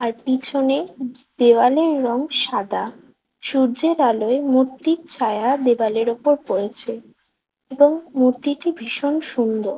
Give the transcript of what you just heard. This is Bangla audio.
আর পিছনে দেয়ালের রং সাদা। সূর্যের আলোয় মূর্তির ছায়া দেওয়ালের উপর পড়েছে এবং মূর্তিটি ভীষণ সুন্দর।